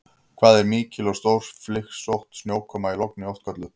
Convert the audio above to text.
Hvað er mikil og stórflygsótt snjókoma í logni oft kölluð?